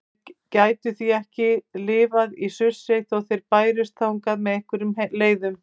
Þeir gætu því ekki lifað í Surtsey þótt þeir bærust þangað með einhverjum leiðum.